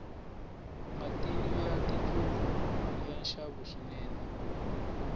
matinu ya tindlopfu yani nxavo swinene